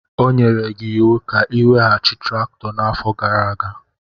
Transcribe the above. O nyere gị iwu ka ị weghachi traktọ n'afọ gara aga.